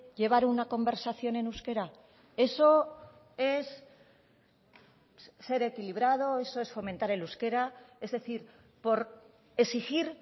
llevar una conversación en euskera eso es ser equilibrado eso es fomentar el euskera es decir por exigir